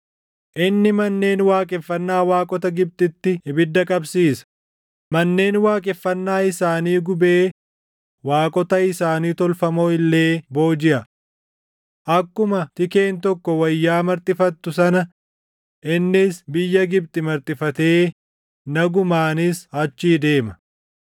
Inni manneen waaqeffannaa waaqota Gibxitti ibidda qabsiisa; manneen waaqeffannaa isaanii gubee waaqota isaanii tolfamoo illee boojiʼa. Akkuma Tikeen tokko wayyaa marxifattu sana innis biyya Gibxi marxifatee nagumaanis achii deema.